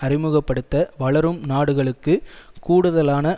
அறிமுக படுத்த வளரும் நாடுகளுக்கு கூடுதலான